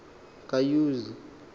kayuzi